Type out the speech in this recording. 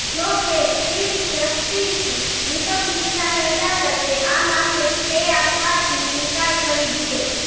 જો કે chief justice Dipak મિશ્રાની અદાલતે આ મામલે સ્ટે આપવાથી ઇનકાર કરી દીધો